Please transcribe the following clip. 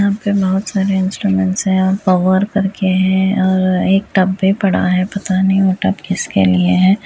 यहां पे बहोत सारे इंस्ट्रूमेंट्स हैं और पावर करके है और एक टब भी पड़ा है। पता नहीं वो टब किसके लिए है।